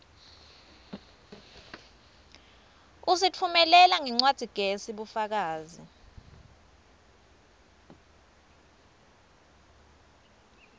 usitfumelela ngencwadzigezi bufakazi